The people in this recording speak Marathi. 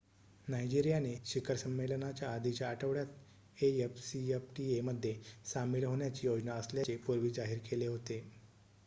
नायजेरियाने शिखर संमेलनाच्या आधीच्या आठवड्यात afcfta मध्ये सामील होण्याची योजना असल्याचे पूर्वी जाहीर केले होते